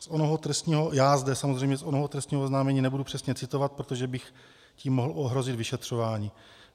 Já zde samozřejmě z onoho trestního oznámení nebudu přesně citovat, protože bych tím mohl ohrozit vyšetřování.